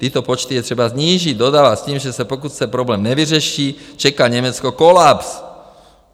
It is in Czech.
Tyto počty je třeba snížit, dodává s tím, že pokud se problém nevyřeší, čeká Německo kolaps.